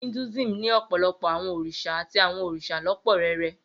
Hinduism ní ọ̀pọ̀lọpọ̀ àwọn òrìṣà àti àwọn òrìṣà lọ́pọ́ rẹrẹ.